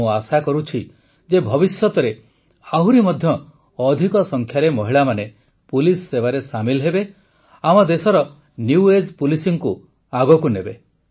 ମୁଁ ଆଶା କରୁଛି ଯେ ଭବିଷ୍ୟତରେ ଆହୁରି ମଧ୍ୟ ଅଧିକ ସଂଖ୍ୟାରେ ମହିଳାମାନେ ପୁଲିସ ସେବାରେ ସାମିଲ୍ ହେବେ ଆମ ଦେଶର ନିଉ ଏଜ୍ ପୋଲିସିଙ୍ଗକୁ ଆଗକୁ ନେବେ